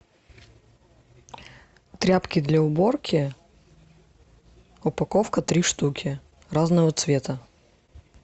тряпки для уборки упаковка три штуки разного цвета